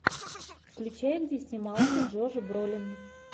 включай где снимался джош бролин